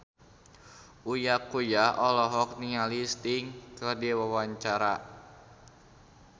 Uya Kuya olohok ningali Sting keur diwawancara